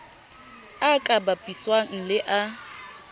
a ka bapiswang le a